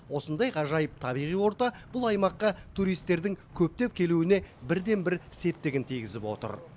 осындай ғажайып табиғи орта бұл аймаққа туристердің көптеп келуіне бірден бір септігін тигізіп отыр